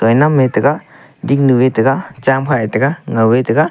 mai nang mai tega dingnu e ga cham kha e taiga ngao e tega.